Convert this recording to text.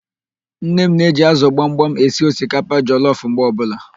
Nne m na-eji ázụ̀ gbamgbam esi osikapa jọlọf mgbe ọbụla